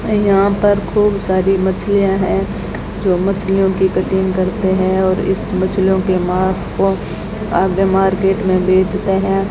यहां पर खूब सारी मछलियां है जो मछलियों की कटिंग करते हैं और इस मछलियों के मांस को आगे मार्केट में बेचते हैं।